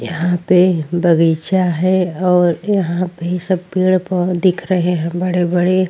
यहा पे बगीचा है और यहा पे सब पेड़ पौधे दिख रहे है बड़े बड़े।